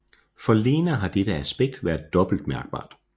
For Lena har dette aspekt været dobbelt mærkbart